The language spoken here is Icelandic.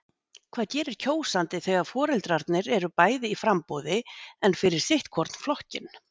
Hvað gerir kjósandi þegar foreldrarnir eru bæði í framboði en fyrir sitt hvorn flokkinn?